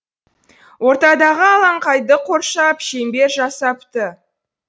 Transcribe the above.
ортадағы алаңқайды қоршап шеңбер жасапты